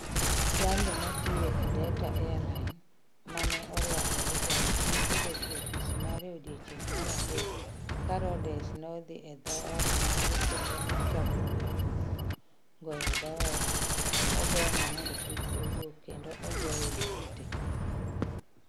Jalno matiyo e Delta Airlines, ma ne orwako hijab, ne obet e ofis mare e odiechieng’ mar adek ka Rhodes nodhi e dhoot mare kendo nochako goyo koko, goyo dhoot, ogeng’e mondo kik owuok kendo ogoye gi ng’ute.